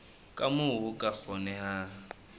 ka moo ho ka kgonehang